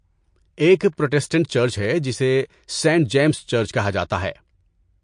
ایک Protestant church ہے جسے سینٹ جیمز چرچ کہا جاتا ہے۔